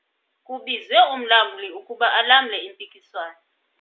Kubizwe umlamli ukuba alamle impikiswano.